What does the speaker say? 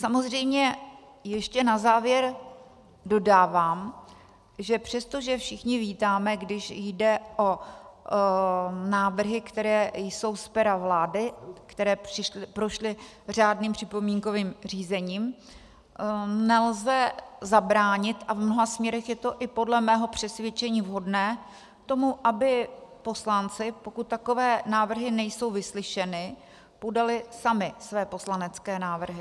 Samozřejmě ještě na závěr dodávám, že přestože všichni vítáme, když jde o návrhy, které jsou z pera vlády, které prošly řádným připomínkovým řízením, nelze zabránit a v mnoha směrech je to i podle mého přesvědčení vhodné k tomu, aby poslanci, pokud takové návrhy nejsou vyslyšeny, podali sami své poslanecké návrhy.